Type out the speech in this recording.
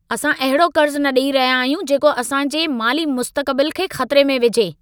असां अहिड़ो कर्ज़ न ॾई रहिया आहियूं जेको असां जे माली मुस्तक़बिल खे ख़तिरे में विझे!